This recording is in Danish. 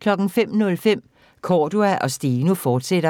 05:05: Cordua & Steno, fortsat